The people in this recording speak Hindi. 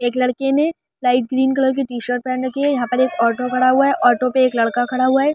एक लड़के ने लाइट ग्रीन कलर के टी-शर्ट पहन रखी है। यहां पर एक ऑटो खड़ा हुआ है। ऑटो पे एक लड़का खड़ा हुआ है।